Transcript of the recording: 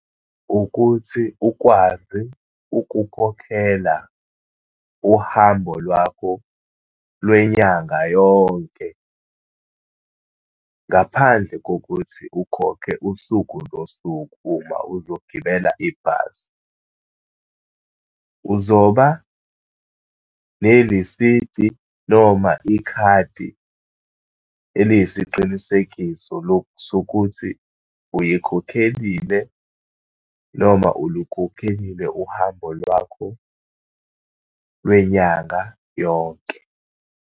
Ukuthi ukwazi ukukhokhela uhambo lwakho lwenyanga yonke, ngaphandle kokuthi ukhokhe usuku nosuku, uma uzogibela ibhasi. Uzoba nelisidi noma ikhadi eliyisiqinisekiso sokuthi uyikhokhelile, noma ulukhokhelile uhambo lwakho lwenyanga yonke.